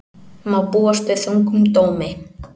Má búast við þungum dómi